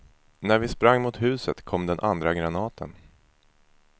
När vi sprang mot huset kom den andra granaten.